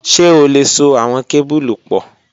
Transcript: Ṣe o le so awọn kebulu pọ?